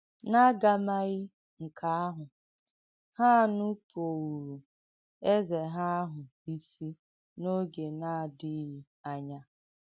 N’àgàmàghī nke àhụ̀, ha nùpụ̀ūrū̀ Èzē ha àhụ̀ ìsì n’ògē na-àdìghī ànyà.